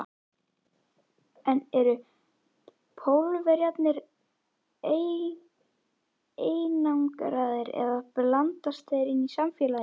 En eru Pólverjarnir einangraðir eða blandast þeir inn í samfélagið?